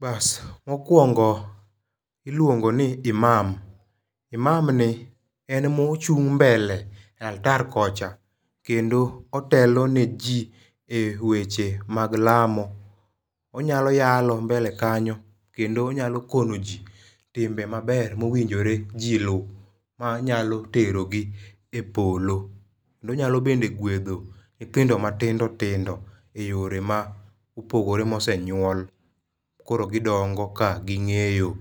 Bas mokwongo iluongo ni imam imam ni en mochung' mbele e altar kocha kendo otelo ne jii e weche mag lamo. Onyalo yalo mbele kanyo kendo onyalo kono ji timbe maber mowinjore jii luw manyalo terogi e polo. Onyalo bende gwedho nyithindo matindo tindo e yore ma opogore mosenyuol. Koro gidongo ka ging'eyo.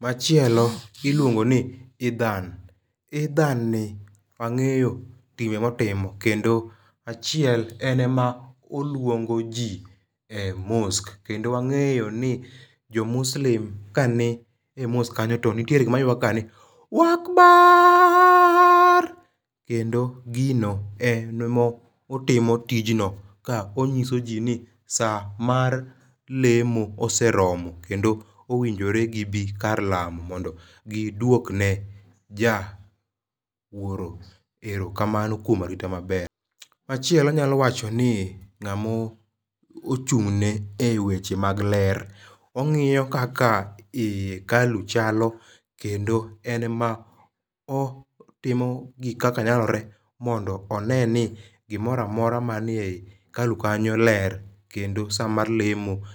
Machielo iluongo ni idhan, idhan ni wang'eyo timbe motimo achiel en emoluongo jii e mosque kendo angeyo ni jo muslim ka nie mosque kanyo to nitie wer ma giwero ga ni wakbarrrrrrrr kendo, gino en motimo tijno ka onyiuso jii ni saa mar lemo oseromo kendo owinjore gi bii kar lamo mondo gidwok ne ja wuoro erokamano kuom arita maber. Machielo anyalo wacho ni ng'amo chung ne weche mag ler ongiyo kaka ii e hekalu chal kendo en ema otimo gik kaka nyalre mondo one ni gimoramora manie hekalu kanyo ler kendo saa mar lemo